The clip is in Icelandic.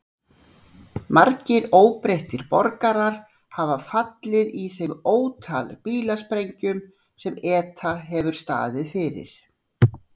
Margir óbreyttir borgarar hafa fallið í þeim ótal bílasprengjum sem ETA hefur staðið fyrir.